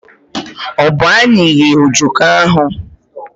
Ọ bụ anyị ghee ojoko ahụ?